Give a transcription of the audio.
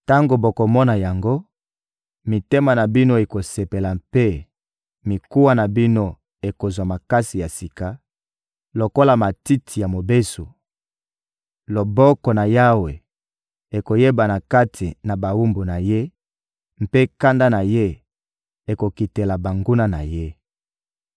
Tango bokomona yango, mitema na bino ekosepela mpe mikuwa na bino ekozwa makasi ya sika lokola matiti ya mobesu; loboko na Yawe ekoyebana kati na bawumbu na Ye mpe kanda na Ye ekokitela banguna na Ye.